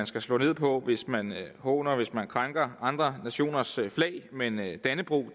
skal slå ned på hvis man håner hvis man krænker andre nationers flag men med dannebrog